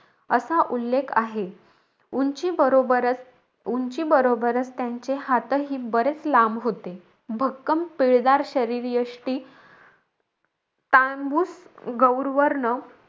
असा उल्लेख आहे. उंची बरोबरचं उंची बरोबरचं त्यांचे हातही बरेच लांब होते. भक्कम पिळदार शरीरयष्टि, तांबूस गौर वर्ण,